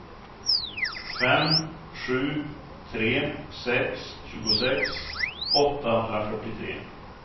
fem sju tre sex tjugosex åttahundrafyrtiotre